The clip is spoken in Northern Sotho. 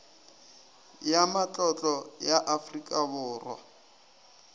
ya matlotlo ya afrika borwa